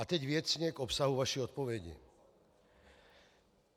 A teď věcně k obsahu vaší odpovědi.